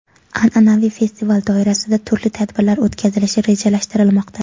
An’anaviy festival doirasida turli tadbirlar o‘tkazilishi rejalashtirilmoqda.